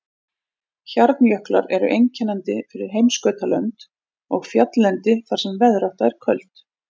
Hjarnjöklar eru einkennandi fyrir heimskautalönd og fjalllendi þar sem veðrátta er köld.